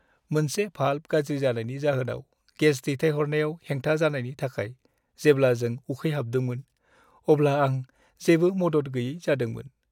मोनसे भाल्भ गाज्रि जानायनि जाहोनाव गेस दैथायनायाव हेंथा जानायनि थाखाय जेब्ला जों उखैहाबदोंमोन, अब्ला आं जेबो मदद गैयै जादोंमोन।